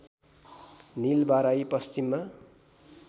नीलबाराही पश्चिममा